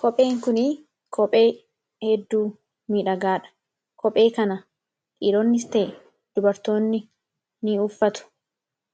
Kopheen kun kophee hedduu miidhagaadha. Kophee kana dhiironnis ta'e dubartoonni ni uffatu.